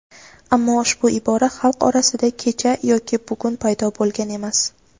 Ammo ushbu ibora xalq orasida kecha yoki bugun paydo bo‘lgan emas.